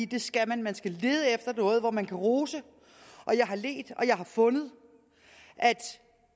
det skal man man skal lede efter noget hvor man kan rose og jeg har ledt og jeg har fundet